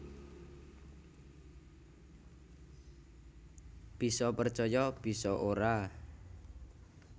Bisa percaya bisa ora